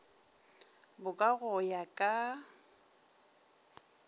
bo ka go ya ka